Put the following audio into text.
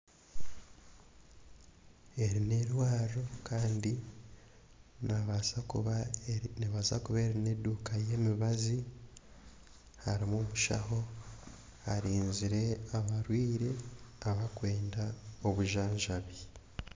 Eri n'eirwariro kandi neebaasa kuba eri neebaasa kuba eri n'eduuka y'emibazi, harimu omushaho arinzire abarwaire abarikwenda obujanjabi.